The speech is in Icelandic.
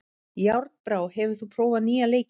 Járnbrá, hefur þú prófað nýja leikinn?